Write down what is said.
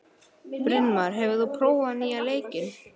Brynmar, hefur þú prófað nýja leikinn?